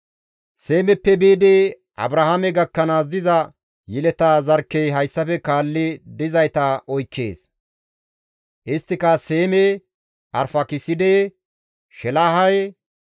Seemeppe biidi Abrahaame gakkanaas diza yeleta zarkkey hayssafe kaalli dizayta oykkees; isttika Seeme, Arfaakiside, Sheelahe,